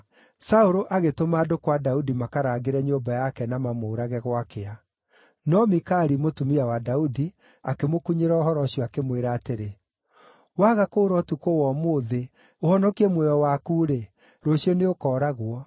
Saũlũ agĩtũma andũ kwa Daudi makaraangĩre nyũmba yake na mamũũrage gwakĩa. No Mikali, mũtumia wa Daudi, akĩmũkunyĩra ũhoro ũcio, akĩmwĩra atĩrĩ, “Waga kũũra ũtukũ wa ũmũthĩ, ũhonokie muoyo waku-rĩ, rũciũ nĩũkooragwo.”